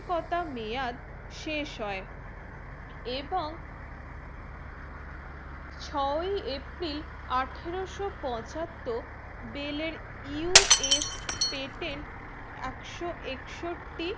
কতা মেয়াদ শেষ হয়ে এবং ছয়ই april আঠেরোশো পঁচাত্তর bellUS patent একশো একষট্টি